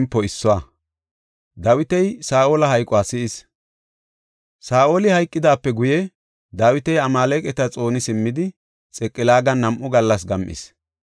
Saa7oli hayqidaape guye, Dawiti Amaaleqata xooni simmidi Xiqilaagan nam7u gallas gam7is.